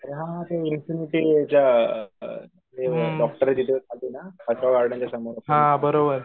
अरे हा हा ते अअ ते डॉक्टरे तिथे समोर